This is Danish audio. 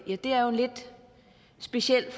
er jo lidt speciel